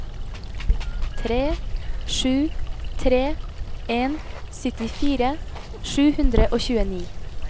tre sju tre en syttifire sju hundre og tjueni